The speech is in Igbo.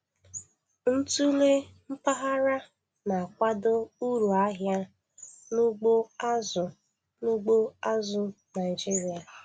Ntụle mpaghara na-akwado uru ahịa n'ugbo azụ̀ n'ugbo azụ̀ Naịjiria.